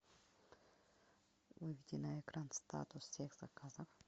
выведи на экран статус всех заказов